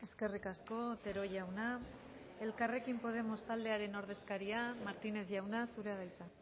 eskerrik asko otero jauna elkarrekin podemos taldearen ordezkaria martínez jauna zurea da hitza